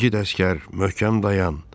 İgid əsgər, möhkəm dayan!